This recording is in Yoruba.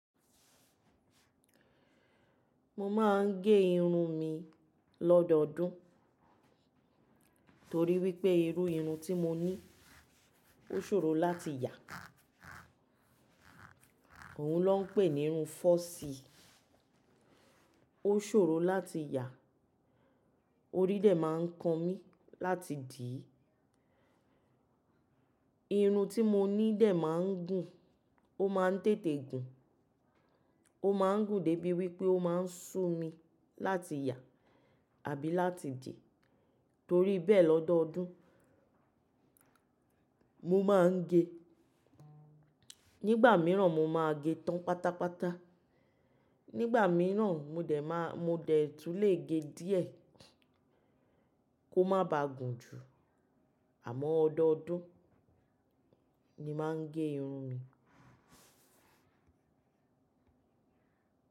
Mo máa ń gé irun mi lọ́dọọdún torí wípé irú irun tí mo ní ó ṣòro láti yà. Òun ló ń pè ní irun fọ́ọ̀sì. Ó ṣòro láti yà, orí dẹ̀ máa ń kan mí láti dìí. Irun tí mo ní dẹ̀ máa ń gùn, ó máa ń tètè gùn. Ó máa ń gùn débi wípé ó máa ń sú mi láti yà àbí láti dìí. Torí bẹ́ẹ̀ lọ́dọọdún mo máa ń gé. Nígbà míràn mo máa gé tán pátápátá, nígbà míràn mo dẹ̀ máa, mo dẹ̀ tún lè gé díẹ̀ kó má ba gùn jù. Àmọ́ ọdọọdún ni máa ń gé irun mi.